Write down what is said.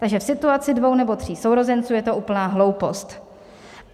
Takže v situaci dvou nebo tří sourozenců je to úplná hloupost.